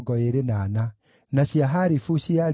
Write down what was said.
na andũ a Jeriko maarĩ 345